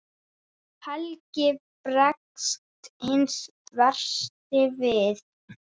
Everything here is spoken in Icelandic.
Helgi bregst hinn versti við.